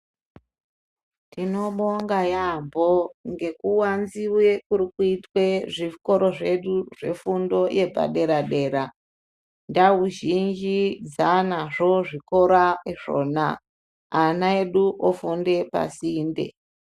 Tino bonga yambo ngeku wanziwe kuri kuitwe zvikoro zvedu zve fundo yepa dera ndau zhinji dzanazvo zvikora izvona ana edu ufunde pa sinte.